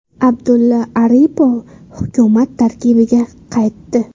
Abdulla Aripov hukumat tarkibiga qaytdi.